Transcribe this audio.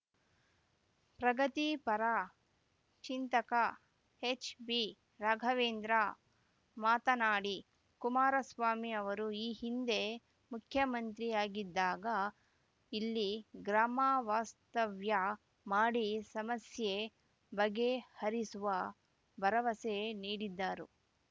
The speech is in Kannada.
ಪ್ರಗತಿಪರ ಚಿಂತಕ ಎಚ್‌ಬಿ ರಾಘವೇಂದ್ರ ಮಾತನಾಡಿ ಕುಮಾರಸ್ವಾಮಿ ಅವರು ಈ ಹಿಂದೆ ಮುಖ್ಯಮಂತ್ರಿ ಆಗಿದ್ದಾಗ ಇಲ್ಲಿ ಗ್ರಾಮವಾಸ್ತವ್ಯ ಮಾಡಿ ಸಮಸ್ಯೆ ಬಗೆಹರಿಸುವ ಭರವಸೆ ನೀಡಿದ್ದರು